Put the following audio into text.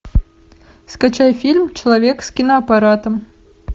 скачай фильм человек с киноаппаратом